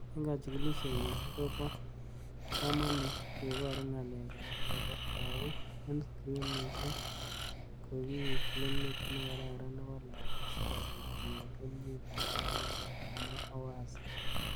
�Eng kachikilishet nyo, kobo kamanut kebaru nga'alek ab lakok eng screnishek. Kokiib filimit nekararan nebo lakok sikobit konyor keljin lagok akichek." kamwa Owase.